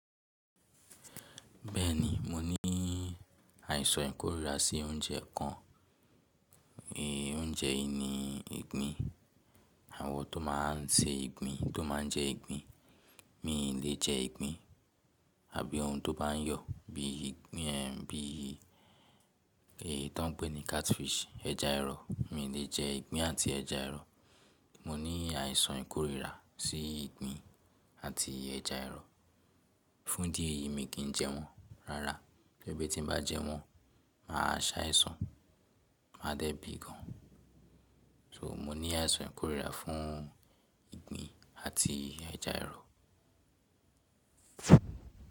Bẹ́ẹ̀ni, mo ní àìsàn ìkórìíra sí oúnjẹ kan. Oúnjẹ yìí ni ìgbín. Àwọn tó máa ń ṣe ìgbín, tó máa ń jẹ ìgbín. Mí ì lè jẹ ìgbín àbí ohun tó bá ń yọ̀ bí ìgbín ẹ́hìn bí i, èyí tó ń pè ní catfish, ẹ̀ja ẹrọ̀. Mí ì lè jẹ ìgbín àti ẹ̀ja ẹrọ̀. Mo ní àìsàn ìkórìíra sí ìgbín àti ẹ̀ja ẹrọ̀. Fún dí eyìí, mí kì í jẹ wọ́n. Rárá, sébí tí n bá jẹ wọ́n, màá ṣàìsàn, máa dẹ́ bìi gan. So, mo ní àìsàn ìkórìíra fún ìgbín àti ẹ̀ja ẹrọ̀.